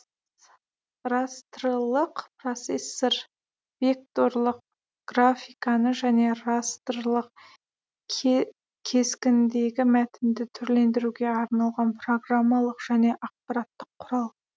растрлық процессор векторлық графиканы және растрлық кескіндегі мәтінді түрлендіруге арналған программалық жөне ақпараттық құрал